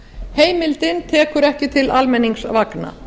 heimildin tekur ekki til almenningsvagna